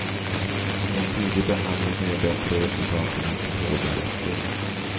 En tidig behandling kan ge bättre resultat än en som påbörjas sent.